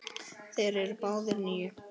Þeir eru báðir níu.